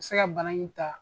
Se ka bana in ta